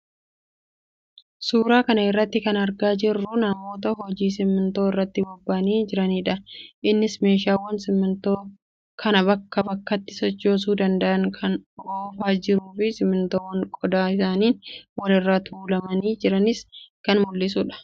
Suuraa kana irraa kan argaa jirruu namoota hojii simintoo irratti bobba'anii jiraniidha. Innis meeshaawwan simintoo kana bakkaa bakkatti sochoosuu danda'an kan oofaa jiruu fi simintoowwan qodaa isaaniin wal irra tuulamanii jiranis kan mul'isuudha.